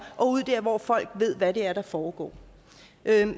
og hvor folk ved hvad det er der foregår